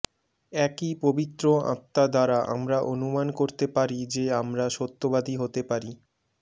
একই পবিত্র আত্মা দ্বারা আমরা অনুমান করতে পারি যে আমরা সত্যবাদী হতে পারি